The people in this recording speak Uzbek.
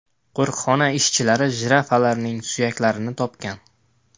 Qo‘riqxona ishchilari jirafalarning suyaklarini topgan.